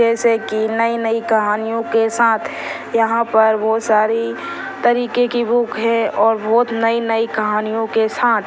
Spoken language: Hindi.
जैसे कि नई-नई कहानियों के साथ यहाँ पर बहुत सारी तरीके बुक है और बहुत नई-नई कहानियों के साथ --